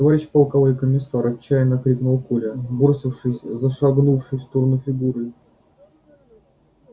товарищ полковой комиссар отчаянно крикнул коля бросившись за шагнувшей в сторону фигурой